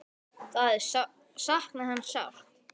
Þau sakna hans sárt.